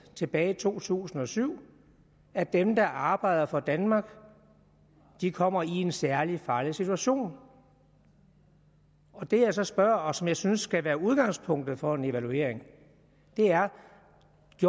tilbage i to tusind og syv at dem der arbejder for danmark kommer i en særlig farlig situation det jeg så spørger om og som jeg synes skal være udgangspunktet for en evaluering er